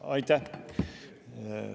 Aitäh!